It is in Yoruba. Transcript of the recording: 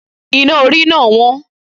Iná orí náà wọ́n